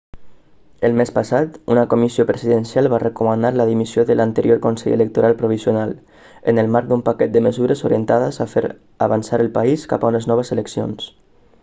el mes passat una comissió presidencial va recomanar la dimissió de l'anterior consell electoral provisional en el marc d'un paquet de mesures orientades a fer avançar el país cap a unes noves eleccions